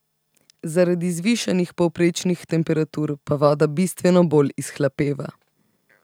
Zaradi zvišanih povprečnih temperatur pa voda bistveno bolj izhlapeva.